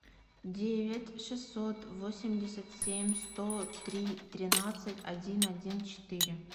девять шестьсот восемьдесят семь сто три тринадцать один один четыре